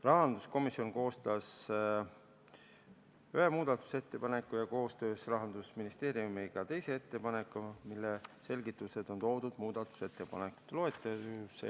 Rahanduskomisjon koostas ühe muudatusettepaneku ja koostöös Rahandusministeeriumiga teise ettepaneku, mille selgitused on toodud muudatusettepanekute loetelus.